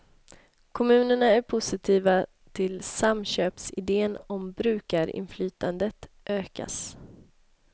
Kommunerna är positiva till samköpsidén om brukarinflytandet ökas.